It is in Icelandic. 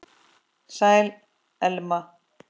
Sæl, Elma.